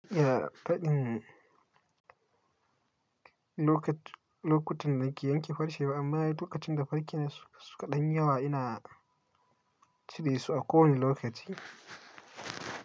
Iya faɗin lokut lokutan da nake yanke farce ba, amma lokacin da farcen su kaɗan yi yawa ina cire su a kowane lokaci.